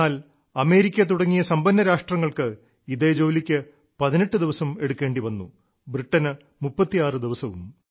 എന്നാൽ അമേരിക്ക തുടങ്ങിയ സമ്പന്ന രാഷ്ട്രങ്ങൾക്ക് ഇതേ ജോലിയ്ക്ക് 18 ദിവസം എടുക്കേണ്ടിവന്നു ബ്രിട്ടന് 36 ദിവസവും